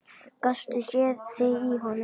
Gastu séð þig í honum?